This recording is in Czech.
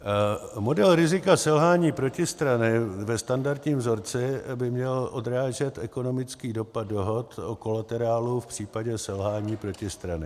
Modul rizika selhání protistrany ve standardním vzorci by měl odrážet ekonomický dopad dohod o kolaterálu v případě selhání protistrany.